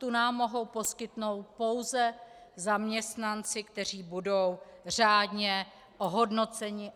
Tu nám mohou poskytnout pouze zaměstnanci, kteří budou řádně ohodnoceni.